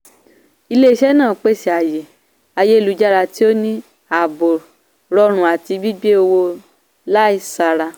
ilé-iṣẹ́ náà pèsè ààyè ayélujára tí o ní ààbò rọrùn àti gbígbé owó láisára.